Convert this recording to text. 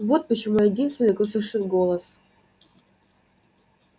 вот почему я единственный кто слышит голос